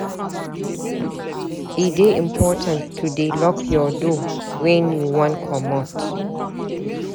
E dey important to dey lock your door wen you wan comot.